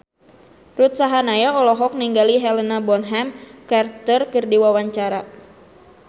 Ruth Sahanaya olohok ningali Helena Bonham Carter keur diwawancara